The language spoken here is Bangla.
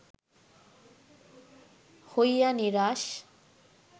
হইয়া নিরাশ